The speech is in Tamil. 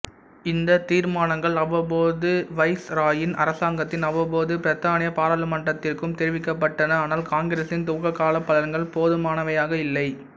இந்தத் தீர்மானங்கள் அவ்வப்போது வைஸ்ராயின் அரசாங்கத்தின் அவ்வப்போது பிரித்தானிய பாராளுமன்றத்திற்கும் தெரிவிக்கப்பட்டன ஆனால் காங்கிரஸின் துவக்ககால பலன்கள் போதுமானவையாக இல்லை